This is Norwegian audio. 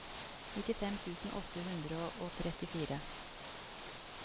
nittifem tusen åtte hundre og trettifire